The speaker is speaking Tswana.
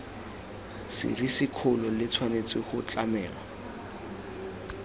serisikgolo le tshwanetse go tlamelwa